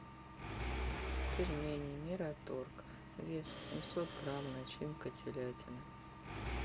пельмени мираторг вес восемьсот грамм начинка телятина